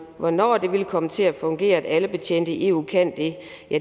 hvornår det vil komme til at fungere at alle betjente i eu kan det